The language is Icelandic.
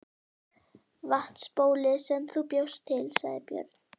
Vatnsbólið sem þú bjóst til, sagði Björn.